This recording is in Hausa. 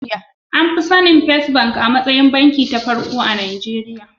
An fi sanin first bank a matsayin banki ta farko a Najeriya.